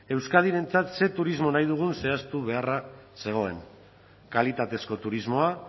euskadirentzat ze turismoa nahi dugun zehaztu beharra zegoen kalitatezko turismoa